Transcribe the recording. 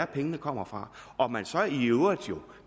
pengene kommer fra og at man så i øvrigt